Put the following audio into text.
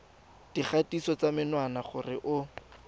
dikgatiso ya menwana gore o